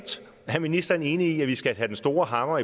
er ministeren enig i at vi skal have den store hammer